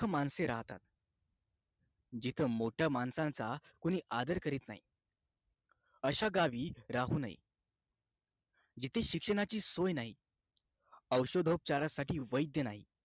जिथ मोठ्या माणसांचा कोणी आदर करीत नाही अशा गावी राहू नये जिथे शिक्षणाची सोय नाही औषधोपचारासाठी वैद्य नाही